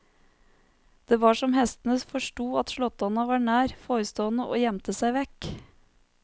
Det var som hestene forstod at slåttonna var nær forestående og gjemte seg vekk.